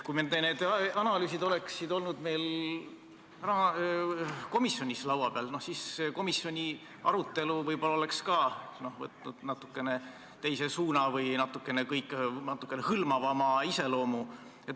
Kui need analüüsid oleksid olnud meil komisjonis laua peal, siis komisjoni arutelu oleks võib-olla võtnud natukene teise suuna või saanud natukene hõlmavama iseloomu.